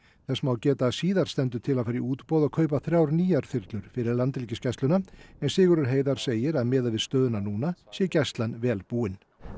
þess má geta að síðar stendur til að fara í útboð og kaupa þrjár nýjar þyrlur fyrir Landhelgisgæsluna en Sigurður Heiðar segir að miðað við stöðuna núna sé Gæslan vel búin